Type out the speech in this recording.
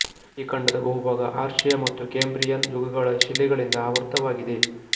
ಈ ಖಂಡದ ಬಹುಭಾಗ ಆರ್ಷೇಯ ಮತ್ತು ಕೇಂಬ್ರಿಯನ್ ಯುಗಗಳ ಶಿಲೆಗಳಿಂದ ಆವೃತವಾಗಿದೆ